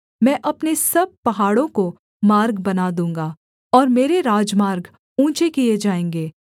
मैं अपने सब पहाड़ों को मार्ग बना दूँगा और मेरे राजमार्ग ऊँचे किए जाएँगे